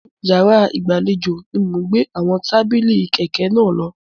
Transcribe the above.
Inú yàrá ìgbàlejò ni mò ń gbé àwọn tábìlì kékèké náà lọ.